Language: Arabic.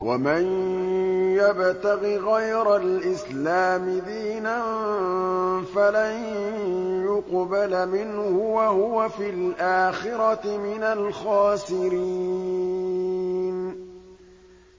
وَمَن يَبْتَغِ غَيْرَ الْإِسْلَامِ دِينًا فَلَن يُقْبَلَ مِنْهُ وَهُوَ فِي الْآخِرَةِ مِنَ الْخَاسِرِينَ